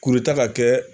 Kuruta ka kɛ